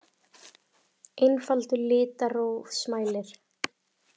Einfaldur litrófsmælir.